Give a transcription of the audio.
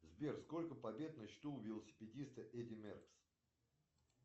сбер сколько побед на счету у велосипедиста эдди меркс